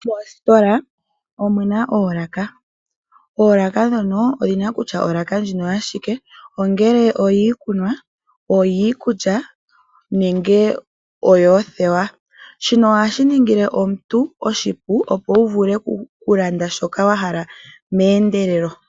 Moostola omuna oolaka , oolaka ndhono odhina kutya olaka ndjino oyashike ongele oyiikunwa , yiikulya nenge yoothewa. Shino ohashi ningile omuntu oshipu opo wu vule okulanda shoka wahala meendelelo.